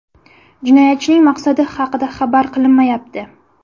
Jinoyatchining maqsadi haqida xabar qilinmayapti.